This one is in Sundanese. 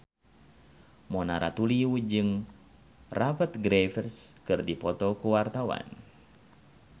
Mona Ratuliu jeung Rupert Graves keur dipoto ku wartawan